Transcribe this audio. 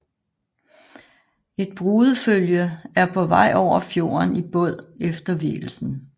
Et brudefølge er på vej over fjorden i båd efter vielsen